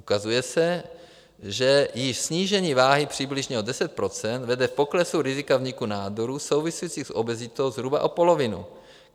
Ukazuje se, že již snížení váhy přibližně o 10 % vede k poklesu rizika vzniku nádorů souvisejících s obezitou zhruba o polovinu.